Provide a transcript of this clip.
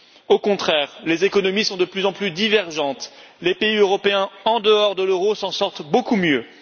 Au contraire, les économies sont de plus en plus divergentes, les pays européens en dehors de l'euro s'en sortent beaucoup mieux.